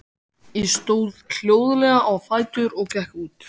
Ég stóð hljóðlega á fætur og gekk út.